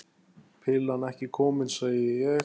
Pillan ekki komin, segi ég.